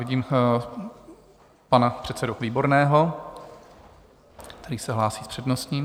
Vidím pana předsedu Výborného, který se hlásí s předností.